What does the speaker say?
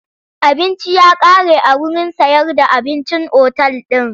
Abinci ya kare a wurin sayar da abincin otal din.